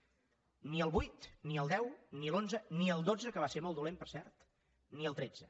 ni el vuit ni el deu ni l’onze ni el dotze que va ser molt dolent per cert ni el tretze